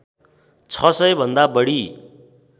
छ सय भन्दा बढी